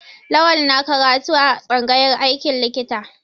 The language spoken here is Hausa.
Lawal na karatu a tsangayar aikin likita.